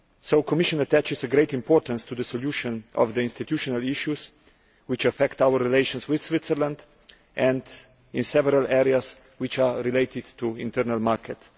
The Commission attaches great importance to the solution of the institutional issues which affect our relations with Switzerland and in several areas which are related to the internal market.